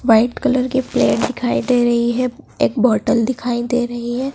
White colour के plate दिखाई दे रही है एक बोटल दिखाई दे रही है।